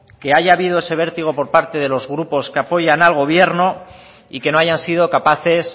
que haya habido ese vértigo por parte de los grupos que apoyan al gobierno y que no hayan sido capaces